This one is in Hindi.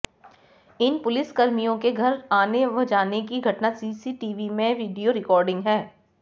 इन पुलिसकर्मियों के घर आने व जाने की घटना सीसीटीवी में वीडियो रिकार्डिंग है